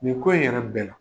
Nin ko in yɛrɛ bɛɛ la